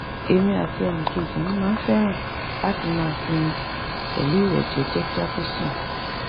èmi àti ẹnìkejì mi máa ń fẹ́ràn láti máa sinmi pẹ̀lú ìwẹ̀ jẹ́jẹ́ kí a tó sùn